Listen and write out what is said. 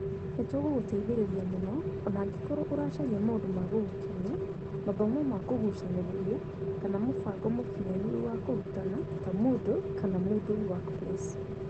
Nĩ tũgũgũteithĩrĩria mũno o na angĩkorũo ũracaria maũndũ ma gũgũkenia, mathomo ma kũgucanĩrĩria, kana mũbango mũkinyanĩru wa kũrutana ta Moodle kana Moodle Workplace.